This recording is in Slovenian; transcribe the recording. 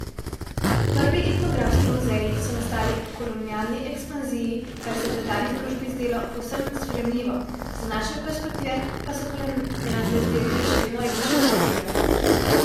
Prvi etnografski muzeji so nastali po kolonialni ekspanziji, kar se je tedanji družbi zdelo povsem sprejemljivo, z današnje perspektive pa so kolonialne zbirke še vedno etično občutljive.